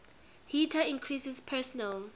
heater increases personal